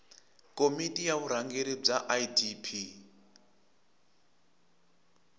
komiti ya vurhangeri bya idp